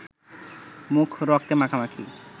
মুখ রক্তে মাখামাখি